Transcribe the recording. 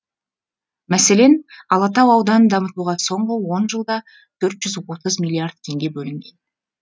мәселен алатау ауданын дамытуға соңғы он жылда төрт жүз отыз миллиард теңге бөлінген